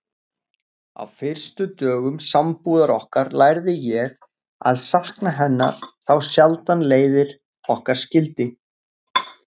Á fyrstu dögum sambúðar okkar lærði ég að sakna hennar þá sjaldan leiðir okkar skildi.